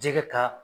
Jɛgɛ ta